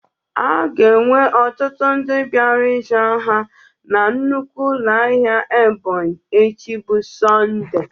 A ga-enwe ọtụtụ ndị bịara ịzụ ahịa na nnukwu ụlọ ahịa Ebonyi echi bụ Sọnde.